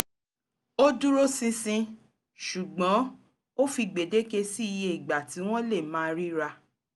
ó dúróṣinṣin ṣùgbọ́n ó fi gbèdéke sí iye ìgbà tí wọ́n lè máa ríra